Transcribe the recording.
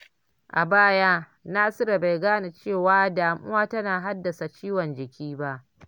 A baya, Nasiru bai gane cewa damuwa tana haddasa ciwon jiki ba.